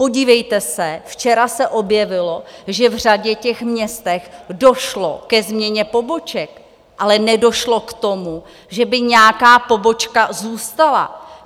Podívejte se, včera se objevilo, že v řadě těch měst došlo ke změně poboček, ale nedošlo k tomu, že by nějaká pobočka zůstala.